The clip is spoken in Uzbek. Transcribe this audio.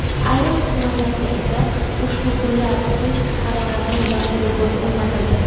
ayrim tumanlarda esa ushbu kunlar uchun haroratning yangi rekordi o‘rnatildi.